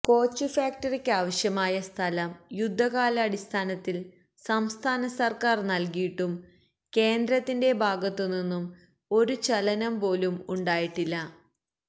കോച്ചുഫാക്ടറിക്കാവശ്യമായ സ്ഥലം യുദ്ധകാലാടിസ്ഥാനത്തില് സംസ്ഥാന സര്ക്കാര് നല്കിയിട്ടും കേന്ദ്രത്തിന്റെ ഭാഗത്തുനിന്നും ഒരുചലനം പോലും ഉണ്ടായിട്ടില്ല